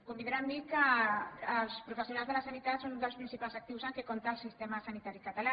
convindrà amb mi que els professionals de la sanitat són dels principals actius amb què compta el sistema sanitari català